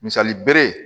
Misali bere ye